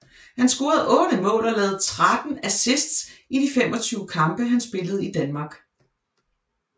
Han scorede 8 mål og lavede 13 assists i de 25 kampe han spillede i Danmark